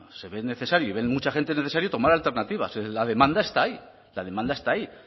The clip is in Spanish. se ve necesario y ve mucha gente necesario tomar alternativas la demanda está ahí